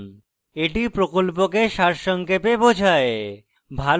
এটি প্রকল্পকে সারসংক্ষেপে বোঝায়